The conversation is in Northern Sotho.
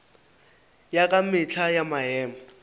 ya ka mehla ya maemo